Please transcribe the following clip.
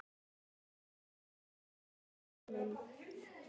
Ekkert stig fyrir þennan.